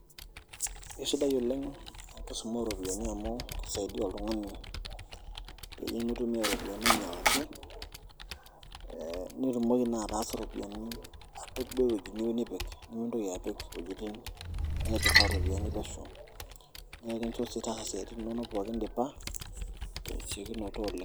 Kesidai oleng' enkisuma ooropiyiani amu kisaidia oltung'ani peyie mitumiaa iropiyiani ainyialaki aa nitumoki naa ataasu iropiyiani apik duo ewueji niyieu nipik nemintoki apik iwuejitin naiturraa iropiyiani pesho naa kakincho sii taasa isiaitin inonok indipa tesiokinoto oleng'.